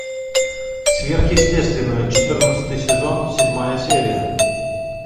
сверхъестественное четырнадцатый сезон седьмая серия